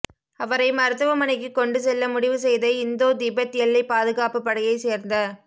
அவரை மருத்துவமனைக்கு கொண்டு செல்ல முடிவு செய்த இந்தோ திபெத் எல்லை பாதுகாப்பு படையை சேர்ந்த